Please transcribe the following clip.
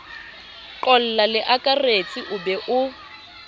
qolla leakaretsi o be o